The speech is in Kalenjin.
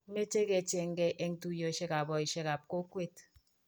meche ke cheergei eng' tuyietab boisiekab kokwet.